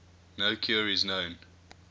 no cure is known